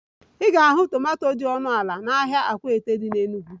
Ị ga-ahụ tomanto dị ọnụ ala n'ahịa akwata dị n'Enugwu